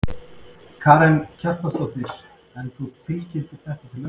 Karen Kjartansdóttir: En þú tilkynntir þetta til lögreglu?